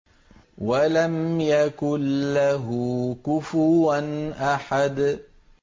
وَلَمْ يَكُن لَّهُ كُفُوًا أَحَدٌ